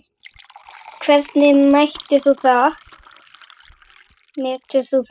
Hvernig metur þú það?